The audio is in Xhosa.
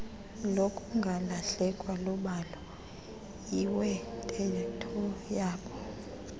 lokungalahlekwa lubhalo iwenteethoyabo